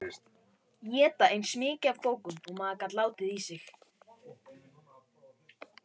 Éta eins mikið af bókum og maður gat í sig látið.